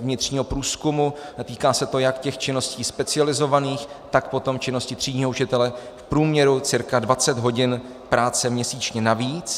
vnitřního průzkumu, týká se to jak těch činností specializovaných, tak potom činnosti třídního učitele - v průměru cirka 20 hodin práce měsíčně navíc.